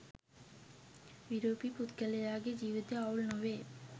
විරූපි පුද්ගලයාගේ ජීවිතය අවුල් නොවේ